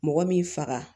Mɔgɔ min faga